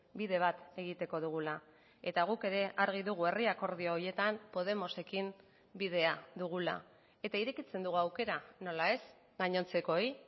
bide bat egiteko dugula eta guk ere argi dugu herri akordio horietan podemosekin bidea dugula eta irekitzen dugu aukera nola ez gainontzekoei